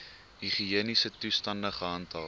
higiëniese toestande gehandhaaf